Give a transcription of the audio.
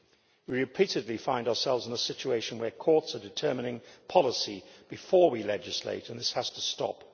We repeatedly find ourselves in a situation where courts are determining policy before we legislate, and this has to stop.